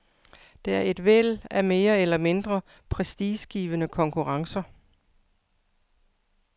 Der er et væld af mere eller mindre prestigegivende konkurrencer.